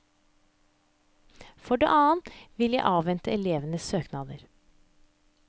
For det annet vil jeg avvente elevenes søknader.